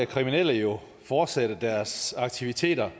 kriminelle jo fortsætte deres aktiviteter